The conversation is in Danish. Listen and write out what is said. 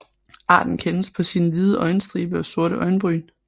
Arten kendes på sin hvide øjenstribe og sorte øjenbryn